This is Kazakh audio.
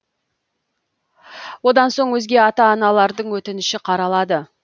одан соң өзге ата аналардың өтініші қаралады